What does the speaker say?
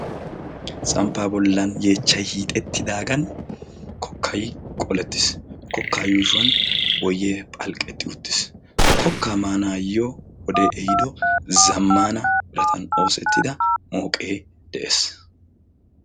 Samppaa bollan yeechchay hiixettidaagan kokkay qolettiis. kokkaa yuushuwan boyee phalqqetti uttiis. kokka maanaayyo wode ehiido zammana biraatan oosettida mooqee de'ees.